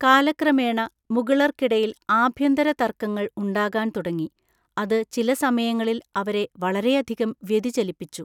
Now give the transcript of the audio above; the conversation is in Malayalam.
കാലക്രമേണ മുഗളർക്കിടയിൽ ആഭ്യന്തര തർക്കങ്ങൾ ഉണ്ടാകാൻ തുടങ്ങി അത് ചില സമയങ്ങളിൽ അവരെ വളരെയധികം വ്യതിചലിപ്പിച്ചു.